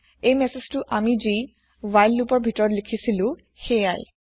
এই মেছজটো আমি জি হোৱাইল লোপৰ ভিতৰত লিখিছিলো হেইয়াই